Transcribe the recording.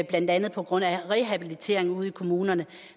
blandt andet på grund af rehabilitering ude i kommunerne